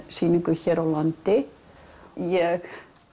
sýningu hér á landi ég